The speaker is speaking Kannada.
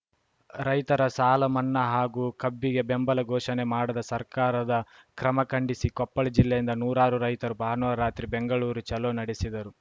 ರೈತರ ಸಾಲಮನ್ನಾ ಹಾಗೂ ಕಬ್ಬಿಗೆ ಬೆಂಬಲ ಘೋಷಣೆ ಮಾಡದ ಸರ್ಕಾರದ ಕ್ರಮಖಂಡಿಸಿ ಕೊಪ್ಪಳ ಜಿಲ್ಲೆಯಿಂದ ನೂರಾರು ರೈತರು ಭಾನುವಾರ ರಾತ್ರಿ ಬೆಂಗಳೂರು ಚಲೋ ನಡೆಸಿದರು